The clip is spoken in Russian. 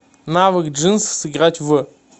навык джинсы сыграть в